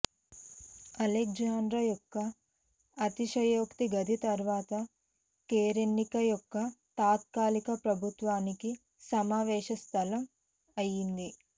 Alexandra యొక్క అతిశయోక్తి గది తరువాత కేరెన్కీ యొక్క తాత్కాలిక ప్రభుత్వానికి సమావేశ స్థలం అయ్యింది